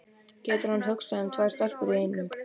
Getur hann hugsað um tvær stelpur í einu?